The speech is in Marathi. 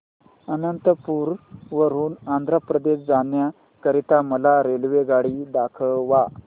अनंतपुर वरून आंध्र प्रदेश जाण्या करीता मला रेल्वेगाडी दाखवा